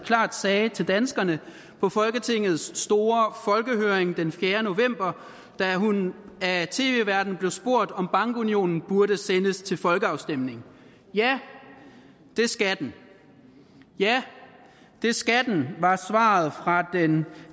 sagde klart til danskerne på folketingets store folkehøring den fjerde november da hun af tv værten blev spurgt om bankunionen burde sendes til folkeafstemning ja det skal den ja det skal den var svaret